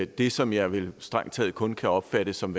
det som jeg vel strengt taget kun kan opfatte som